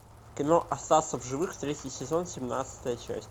кино остаться в живых третий сезон семнадцатая часть